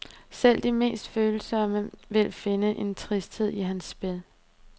Selv de mindst følsomme vil finde en tristhed i hans spil.